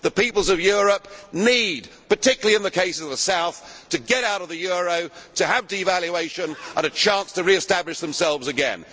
The peoples of Europe, particularly in the case of the South, need to get out of the euro, to have devaluation and a chance to re establish themselves again.